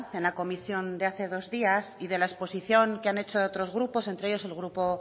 en la comisión de hace dos días y de la exposición de han hecho otros grupos entre ellos el grupo